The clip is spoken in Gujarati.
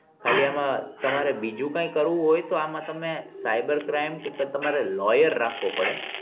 ખાલી આમાં તમારે બીજું કઈ કરવું હોય તો આમાં તમે cyber crime કે તમારે lawyer રાખવો પડે